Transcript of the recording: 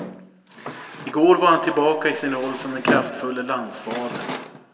I går var han tillbaka i sin roll som den kraftfulle landsfadern.